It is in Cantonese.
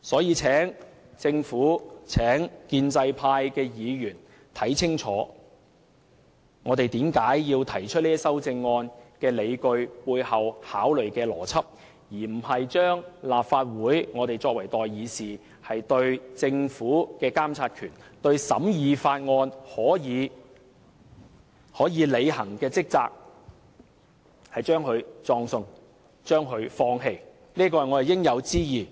我請政府和建制派議員清楚看看我們提出修正案的理據，以及背後考慮的邏輯，而非把立法會，把我們作為代議士對政府的監察權，對審議法案可以履行的職責葬送和放棄，這便是我們的應有之義。